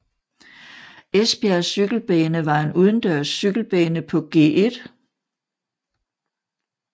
Esbjerg Cykelbane var en udendørs cykelbane på Gl